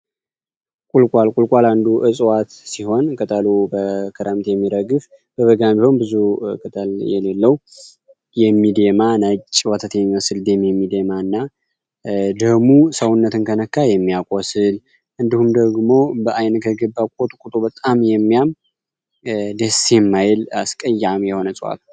ቁልቋል ቁልቋል አንዱ ዕጽዋት ሲሆን ቅጠሉ በክረምት የሚረግፍ በበጋም ቢሆን ብዙ ቅጠል የሌለው ወተት የሚመስል ነጭ ደም የሚደማና ደሙ ሰውነትን ከነካ የሚያቆስል እንዲሁም ደግሞ በአይን ከገባ በጣም የሚያም ደስ የሚያል አስቀያሚ የሆነ እጽዋት ነው።